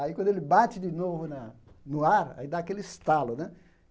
Aí, quando ele bate de novo na no ar, aí dá aquele estalo, né?